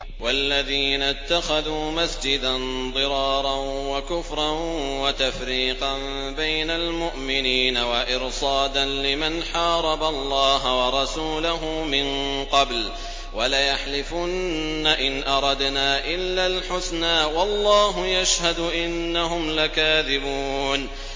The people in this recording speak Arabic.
وَالَّذِينَ اتَّخَذُوا مَسْجِدًا ضِرَارًا وَكُفْرًا وَتَفْرِيقًا بَيْنَ الْمُؤْمِنِينَ وَإِرْصَادًا لِّمَنْ حَارَبَ اللَّهَ وَرَسُولَهُ مِن قَبْلُ ۚ وَلَيَحْلِفُنَّ إِنْ أَرَدْنَا إِلَّا الْحُسْنَىٰ ۖ وَاللَّهُ يَشْهَدُ إِنَّهُمْ لَكَاذِبُونَ